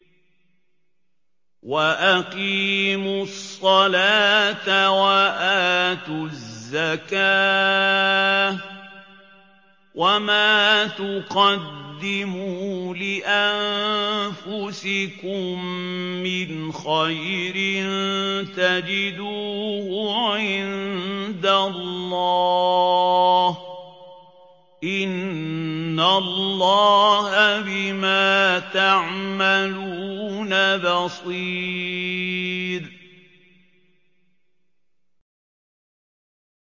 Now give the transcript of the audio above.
وَأَقِيمُوا الصَّلَاةَ وَآتُوا الزَّكَاةَ ۚ وَمَا تُقَدِّمُوا لِأَنفُسِكُم مِّنْ خَيْرٍ تَجِدُوهُ عِندَ اللَّهِ ۗ إِنَّ اللَّهَ بِمَا تَعْمَلُونَ بَصِيرٌ